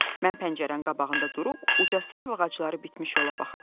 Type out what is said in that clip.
Mən pəncərənin qabağında durub uca sərv ağacları bitmiş yola baxırdım.